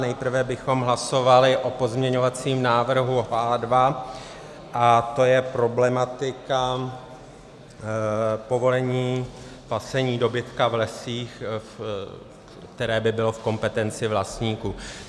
Nejprve bychom hlasovali o pozměňovacím návrhu H2, to je problematika povolení pasení dobytka v lesích, které by bylo v kompetenci vlastníků.